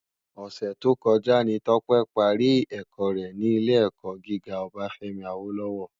Òsè tókòjá ni Tope pàrí èkò rè ni ilé èkò gigá Obafemi Awolowo